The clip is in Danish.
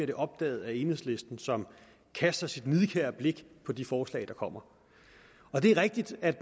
det opdaget af enhedslisten som kaster sit nidkære blik på de forslag der kommer det er rigtigt at